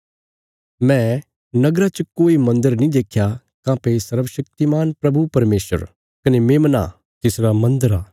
मैं नगरा च कोई मन्दर नीं देख्या काँह्भई सर्वशक्तिमान प्रभु परमेशर कने मेमना तिसरा मन्दर आ